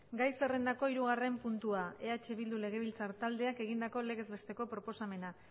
gai zerrendako hirugarren puntua eh bildu legebiltzar taldeak egindako legez besteko proposamena